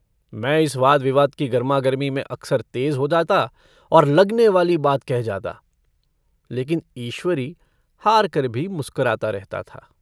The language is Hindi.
मैं इस वाद-विवाद की गर्मागर्मी में अक्सर तेज़ हो जाता और लगने वाली बात कह जाता। लेकिन ईश्वरी हारकर भी मुस्कराता रहता था।